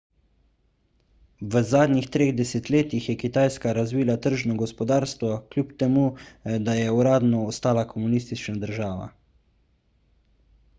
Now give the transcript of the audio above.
v zadnjih treh desetletjih je kitajska razvila tržno gospodarstvo kljub temu da je uradno ostala komunistična država